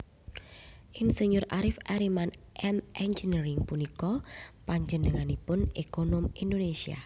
Ir Arif Arryman M Eng punika panjenenganipun ekonom Indonesia